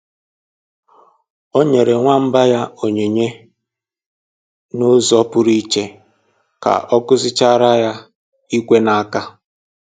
O nyere nwamba ya onyinye n'ụzọ pụrụ iche ka ọ kụzichaara ya ikwe n'aka